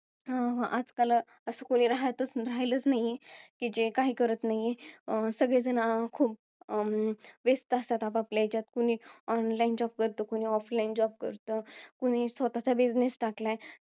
आजकाल कोणी असं, राहातच~ राहिलच नाहीये, कि जे काही करत नाहीये. सगळे जण अं खूप अं व्यस्त असतात आपापल्या ह्याच्यात. कुणी online job करतं, offline job करतं. कुणी स्वतःचा business टाकलाय.